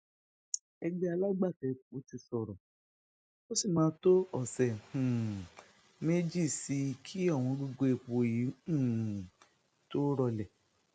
ẹgbẹ alágbàtà epo ti sọrọ ó sì máa tó ọsẹ um méjì sí i kí ọwọngọgọ epo yìí um tóó rọlẹ